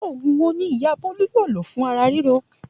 Òògùn wo ni ìyá Bólú yóò lò fún ara ríro?